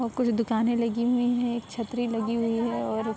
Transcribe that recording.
और कुछ दुकानें लगी हुई हैं। एक छतरी लगी हुई है और --